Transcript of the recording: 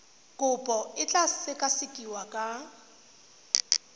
kopo e tla sekasekiwa ka